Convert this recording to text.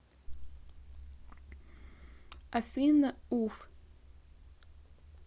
афина уф